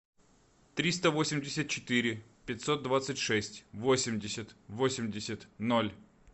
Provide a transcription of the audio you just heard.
триста восемьдесят четыре пятьсот двадцать шесть восемьдесят восемьдесят ноль